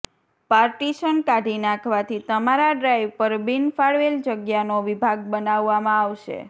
partition કાઢી નાખવાથી તમારા ડ્રાઈવ પર બિનફાળવેલ જગ્યાનો વિભાગ બનાવવામાં આવશે